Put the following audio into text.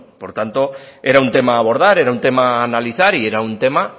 por tanto era un tema a abordar era un tema a analizar y era un tema